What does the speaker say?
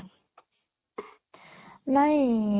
ନାଇଁ